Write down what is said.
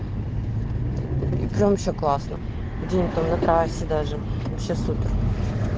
и прям вообще классно день там на трассе даже вообще супер